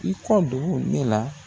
I kɔ don ne la.